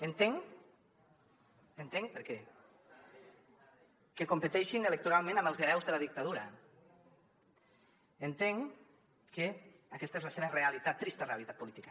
entenc ho entenc per què que competeixin electoralment amb els hereus de la dictadura entenc que aquesta és la seva realitat trista realitat política